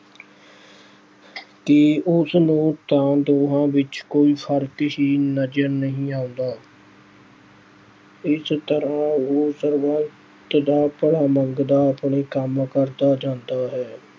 ਕਿ ਉਸ ਨੂੰ ਤਾਂ ਦੋਹਾਂ ਵਿੱਚ ਕੋਈ ਫ਼ਰਕ ਹੀ ਨਜ਼ਰ ਨਹੀਂ ਆਉਂਦਾ। ਇਸ ਤਰ੍ਹਾਂ ਉਹ ਸਰਬੱਤ ਦਾ ਭਲਾ ਮੰਗਦਾ ਆਪਣੇ ਕੰਮ ਕਰਦਾ ਜਾਂਦਾ ਹੈ।